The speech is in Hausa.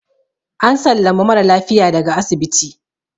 an sallami mara lafiya daga asibiti